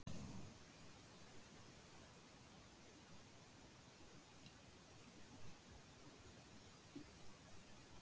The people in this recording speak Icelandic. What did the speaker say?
Ég hef lítið fengið að spila að undanförnu.